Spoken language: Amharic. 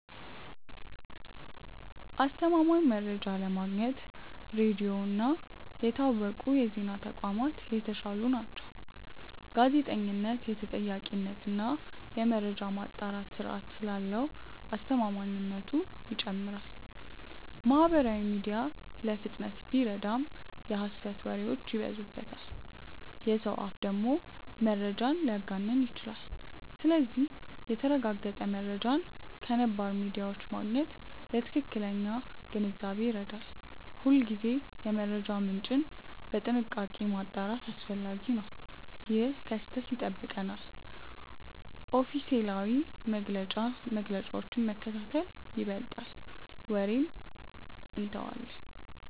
አስተማማኝ መረጃ ለማግኘት ሬዲዮ እና የታወቁ የዜና ተቋማት የተሻሉ ናቸው። ጋዜጠኝነት የተጠያቂነት እና የመረጃ ማጣራት ስርዓት ስላለው አስተማማኝነቱ ይጨምራል። ማህበራዊ ሚዲያ ለፍጥነት ቢረዳም የሐሰት ወሬዎች ይበዙበታል። የሰው አፍ ደግሞ መረጃን ሊያጋንን ይችላል። ስለዚህ የተረጋገጠ መረጃን ከነባር ሚዲያዎች ማግኘት ለትክክለኛ ግንዛቤ ይረዳል። ሁልጊዜ የመረጃ ምንጭን በጥንቃቄ ማጣራት አስፈላጊ ነው። ይህ ከስህተት ይጠብቀናል። ኦፊሴላዊ መግለጫዎችን መከታተል ይበልጣል ወሬን እንተዋለን።